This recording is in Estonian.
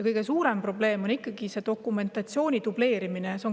Kõige suurem probleem on ikkagi see dokumentatsiooni dubleerimine.